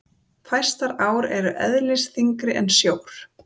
fæstar ár eru eðlisþyngri en sjór